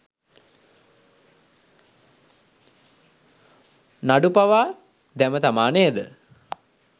නඩු පවා දැමථමා නේද?